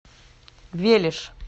велиж